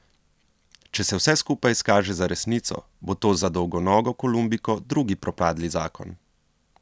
Če se vse skupaj izkaže za resnico, bo to za dolgonogo Kolumbijko drugi propadli zakon.